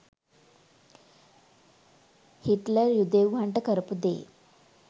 Hitler යුදෙව්වන්ට කරපු දේ